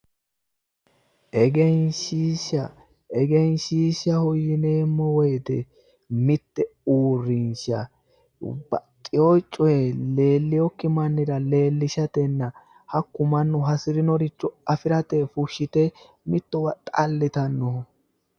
Egenshishsha, egenshishsha yinneemmo woyte mite uurrinsha baxxeyo coye leelinokki mannira leelishatenna hakku mannu hasirinoricho afirate fushite mittowa xalittanoho